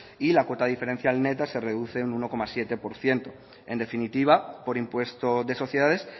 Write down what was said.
y la cota diferencial neta se reduce un uno coma siete por ciento en definitiva por impuesto de sociedades